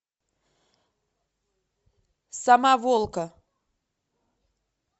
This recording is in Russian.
самоволка